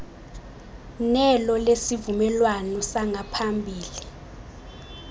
nelo lesivumelwano sangaphambili